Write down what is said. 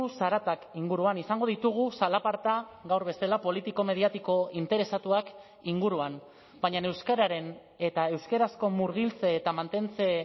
zaratak inguruan izango ditugu zalaparta gaur bezala politiko mediatiko interesatuak inguruan baina euskararen eta euskarazko murgiltze eta mantentze